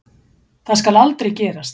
Það skal aldrei gerast.